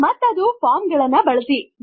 ಮತ್ತು ಅದು ಫಾರ್ಮ್ ಗಳನ್ನು ಬಳಸಿ